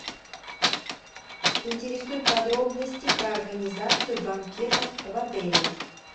интересуют подробности про организацию банкетов в отеле